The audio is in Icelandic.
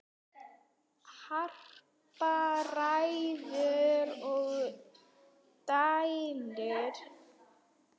Harpa ræður og dælir.